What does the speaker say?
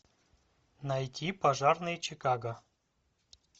найти пожарные чикаго